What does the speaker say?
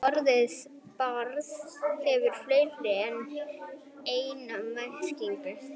Orðið barð hefur fleiri en eina merkingu.